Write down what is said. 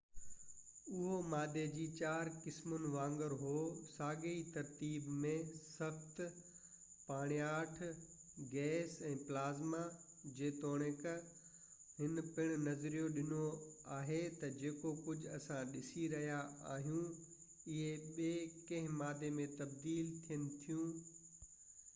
اهو مادي جي چار قسمن وانگر هو ساڳئي ترتيب ۾: سخت، پاڻياٺ، گئس ۽ پلازما، جيتوڻڪ هن پڻ نظريو ڏنو آهي تہ جيڪو ڪجهہ اسان ڏسي رهيا آهيون اهي ٻي ڪنهن مادي ۾ تبديل ٿين ٿيون